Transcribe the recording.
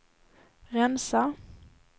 rensa